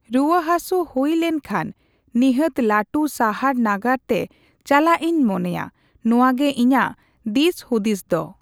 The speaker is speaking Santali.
ᱨᱩᱣᱟᱹ ᱦᱟᱥᱩ ᱦᱩᱭ ᱞᱮᱱᱠᱷᱟᱱ ᱱᱤᱦᱟᱹᱛ ᱞᱟᱹᱴᱩ ᱥᱟᱦᱟᱨ ᱱᱟᱜᱟᱨ ᱛᱮ ᱪᱟᱞᱟᱜ ᱤᱧ ᱢᱚᱱᱮᱭᱟ᱾ ᱱᱚᱣᱟ ᱜᱮ ᱤᱧᱟᱹᱜ ᱫᱤᱥ ᱦᱩᱫᱤᱥ ᱫᱚ᱾